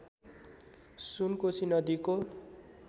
सुनकोसी नदीको